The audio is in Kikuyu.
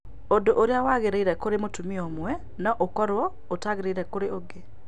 Ũndũ ũrĩa wagĩrĩire kũrĩ mũtumia ũmwe no ũkorũo ũtaagĩrĩire kũrĩ ũngĩ.